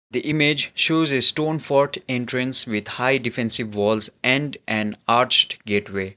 the image shows a stone fort entrance with high defensive walls and an arched gateway.